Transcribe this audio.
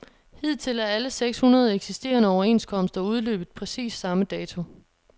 Hidtil er alle seks hundrede eksisterende overenskomster udløbet præcis samme dato.